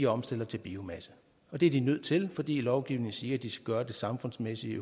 omstiller til biomasse og det er de nødt til fordi lovgivningen siger at de skal gøre det samfundsmæssigt